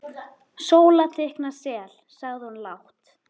Sóla teikna sel, sagði hún lágt.